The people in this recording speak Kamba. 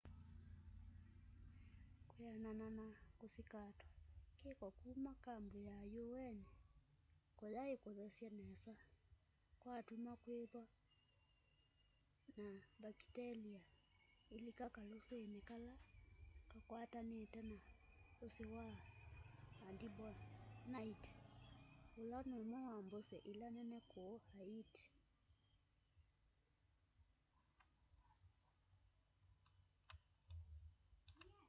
kwianana na kusikatwa kiko kuma kambu ya un kuyaikuthesye nesa kwatuma kwithwa na mbakitelia ilika kalusini kala kakwatanite na usi wa artibonite ula numwe wa mbusi ila nene kuu haiti